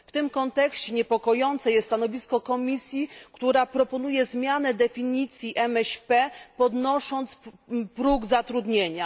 W tym kontekście niepokojące jest stanowisko Komisji, która proponuje zmianę definicji MŚP, podnosząc próg zatrudnienia.